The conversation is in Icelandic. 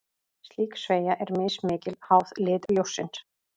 Slík sveigja er mismikil, háð lit ljóssins.